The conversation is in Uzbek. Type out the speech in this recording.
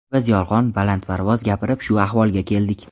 Biz yolg‘on, balandparvoz gapirib shu ahvolga keldik.